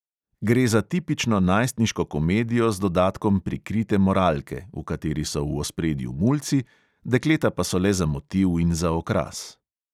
Gre za tipično najstniško komedijo z dodatkom prikrite moralke, v kateri so v ospredju mulci, dekleta pa so le za motiv in za okras.